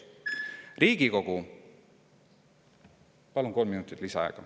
Palun kolm minutit lisaaega.